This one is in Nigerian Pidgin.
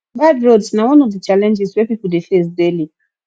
bad roads na one of the challenges wey pipo de face daily